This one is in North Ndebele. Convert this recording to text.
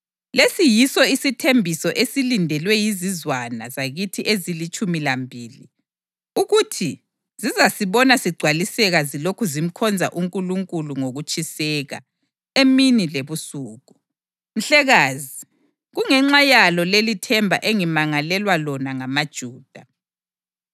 Lesi yiso isithembiso esilindelwe yizizwana zakithi ezilitshumi lambili ukuthi zizasibona sigcwaliseka zilokhu zimkhonza uNkulunkulu ngokutshiseka emini lebusuku. Mhlekazi, kungenxa yalo lelithemba engimangalelwa lona ngamaJuda.